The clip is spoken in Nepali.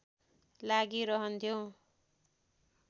लागी रहन्थ्यो